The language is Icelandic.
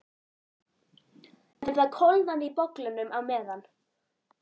En það kólnaði í bollanum á meðan